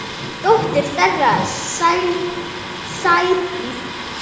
Dóttir þeirra: Sædís Saga.